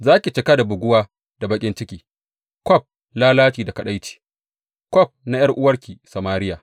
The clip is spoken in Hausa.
Za ki cika da buguwa da baƙin ciki, kwaf lalaci da kaɗaici, kwaf na ’yar’uwarki Samariya.